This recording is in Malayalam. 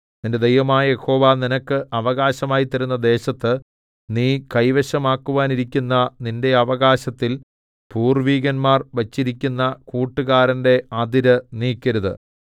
നിന്റെ ദൈവമായ യഹോവ നിനക്ക് അവകാശമായി തരുന്ന ദേശത്ത് നീ കൈവശമാക്കുവാനിരിക്കുന്ന നിന്റെ അവകാശത്തിൽ പൂർവ്വികന്മാർ വച്ചിരിക്കുന്ന കൂട്ടുകാരന്റെ അതിര് നീക്കരുത്